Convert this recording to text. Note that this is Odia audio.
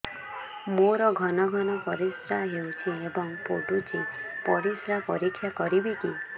ମୋର ଘନ ଘନ ପରିସ୍ରା ହେଉଛି ଏବଂ ପଡ଼ୁଛି ପରିସ୍ରା ପରୀକ୍ଷା କରିବିକି